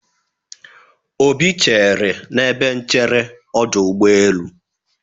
Obi chere n'ebe nchere ọdụ ụgbọelụ.